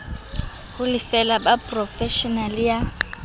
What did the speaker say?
ho lefela ba porofeshene ya